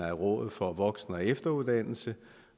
rådet for voksen og efteruddannelse